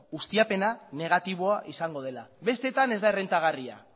ustiapena negatiboa izango dela besteetan ez da errentagarria